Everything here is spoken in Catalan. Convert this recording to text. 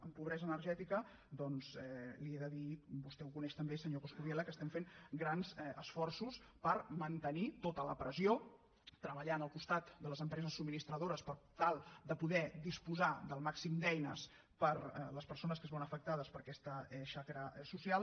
en pobresa energètica doncs li he de dir vostè ho coneix també senyor coscubiela que estem fent grans esforços per mantenir tota la pressió treballant al costat de les empreses subministradores per tal de poder disposar del màxim d’eines per a les persones que es veuen afectades per aquesta xacra social